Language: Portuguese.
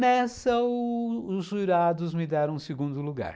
Nessa, os jurados me deram o segundo lugar.